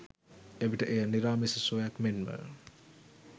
එවිට එය නිරාමිස සුවයක් මෙන්ම